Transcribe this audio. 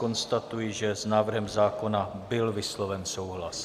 Konstatuji, že s návrhem zákona byl vysloven souhlas.